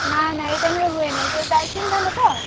ନା ନା ଏଇ time ରେ ହୁଏନି ଏଇ ଯୋଉ ଟାଇଚିନ ଧାନ ତ।